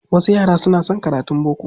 Wasu yara suna son karatun boko.